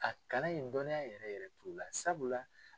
A kalan in dɔnniya yɛrɛ yɛrɛ t'u la sabula.